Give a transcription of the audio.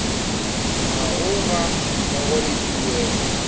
gago ga mmogo le tuelo